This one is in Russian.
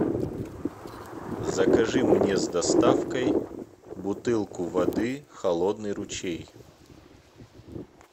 закажи мне с доставкой бутылку воды холодный ручей